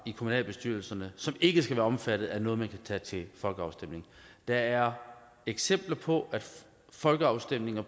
i kommunalbestyrelserne som ikke skal være omfattet af noget man kan tage til folkeafstemning der er eksempler på at folkeafstemninger